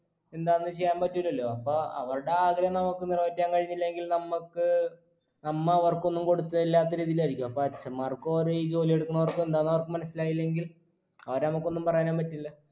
എന്താ ഒന്നും ചെയ്യാൻ പറ്റൂല്ലാല്ലോ അപ്പൊ അവരുടെ ആഗ്രഹങ്ങൾ നമുക്ക് നിറവേറ്റാൻ കഴിഞ്ഞില്ലെങ്കിൽ നമ്മക്ക് നമ്മ അവർക്ക് ഒന്നും കൊടുത്തതല്ലാത്ത രീതിയിലായിരിക്കു അപ്പൊ അച്ചന്മാർക്കോ അതോ ഈ ജോലി എടുക്കുന്നവർക്കോ എന്താന്ന് അവർക്ക് മനസ്സിലായില്ലെങ്കിൽ അവരെ നമുക്ക് ഒന്നും പറയാനും പറ്റില്ല